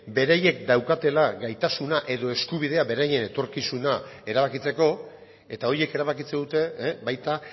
beraiek daukatela gaitasuna edo eskubidea beraien etorkizuna erabakitzeko eta horiek erabakitzen dute baita